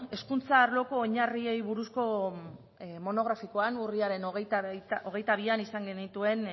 hezkuntza arloko oinarriei buruzko monografikoan urriaren hogeita bian izan genituen